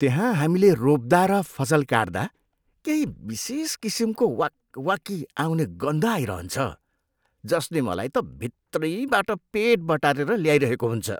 त्यहाँ हामीले रोप्दा र फसल काट्दा केही विशेष किसिमको वाकवाकी आउने गन्ध आइरहन्छ, जसले मलाई त भित्रैबाट पेट बटारेर ल्याइरहेको हुन्छ।